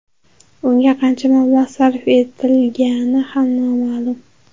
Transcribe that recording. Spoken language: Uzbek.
Unga qancha mablag‘ sarf etilgani ham noma’lum.